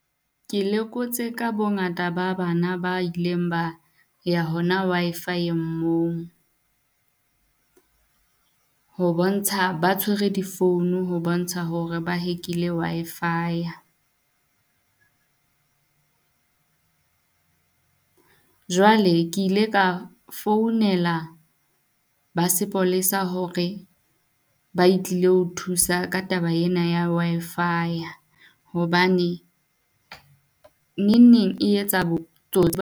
Ke lekotse ka bongata ba bana ba ileng ba ya hona Wi-Fi-eng moo. Ho bontsha ba tshwere di-phone ho bontsha hore ba hack-ile Wi-Fi-ya. Jwale ke ile ka founela ba sepolesa hore ba e tlile ho thusa ka taba ena ya Wi-Fi hobane neng neng e etsa botsotsi.